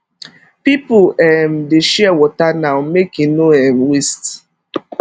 people um dey share water now make e no um waste